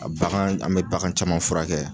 A bagan, an bɛ bagan caman furakɛ.